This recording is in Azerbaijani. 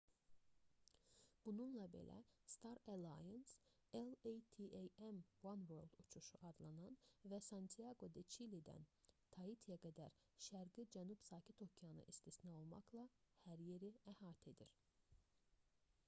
bununla belə star alliance latam oneworld uçuşu adlanan və santiaqo-de-çilidən taitiyə qədər şərqi cənub sakit okeanı istisna olmaqla hər yeri əhatə edir